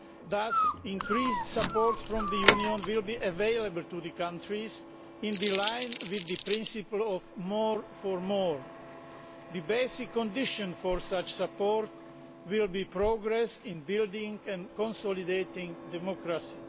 Thus increased support from the Union will be available to the countries in line with the principle of more for more'. The basic condition for such support will be progress in building and consolidating democracy.